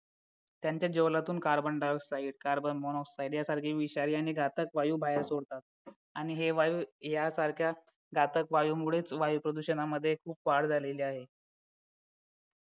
त्यांच्या ज्वलनातून carbon dioxide carbon monoxide यासारखे विषारी आणि घातक वायू बाहेर सोडतात आणि हे वायू यासारख्या घातक वायूमुळे वायू प्रदूषणामध्ये खूप वाढ झाली आहे